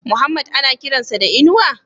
Muhammad ana kiran sa da Inuwa?